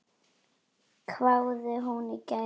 hváði hún í gær.